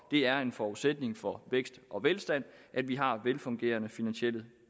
det er en forudsætning for vækst og velstand at vi har velfungerende finansielle